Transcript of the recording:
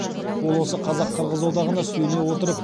ол осы қазақ қырғыз одағына сүйене отырып